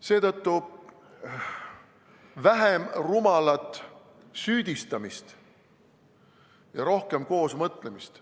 Seetõttu, vähem rumalat süüdistamist ja rohkem koos mõtlemist.